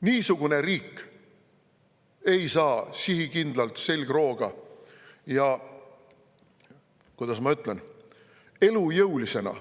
Niisugune riik ei saa sihikindlalt, selgrooga, ja kuidas ma ütlen, elujõulisena